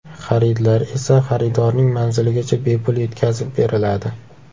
Xaridlar esa xaridorning manziligacha bepul yetkazib beriladi.